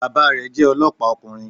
Bàbá rẹ̀ jẹ́ olọ́pàá ọkùnrin